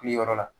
Wuli yɔrɔ la